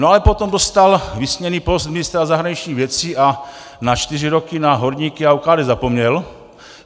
No ale potom dostal vysněný post ministra zahraničních věcí a na čtyři roky na horníky a ODK zapomněl.